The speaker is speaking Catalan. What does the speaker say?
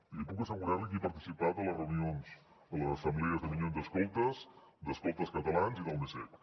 i li puc assegurar que he participat a les reunions a les assemblees de minyons escoltes d’escoltes catalans i del mcecc